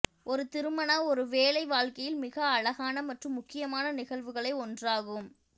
ஒரு திருமண ஒருவேளை வாழ்க்கையில் மிக அழகான மற்றும் முக்கியமான நிகழ்வுகளை ஒன்றாகும்